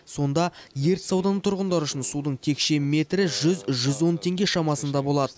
сонда ертіс ауданы тұрғындары үшін судың текше метрі жүз жүз он теңге шамасында болады